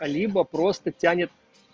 либо просто тянет